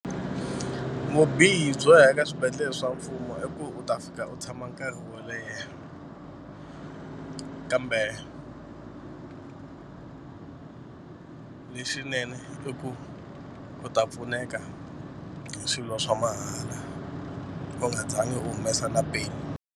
Vubihi byo ya eka swibedhlele swa mfumo i ku u ta fika u tshama nkarhi wo leha kambe leswinene i ku u ta pfuneka hi swilo swa mahala u nga zangi u humesa na peni.